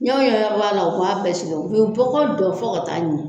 u ye bɔgɔ dɔn fɔ ka taa ɲɛ.